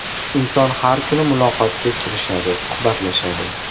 Inson har kuni muloqotga kirishadi, suhbatlashadi.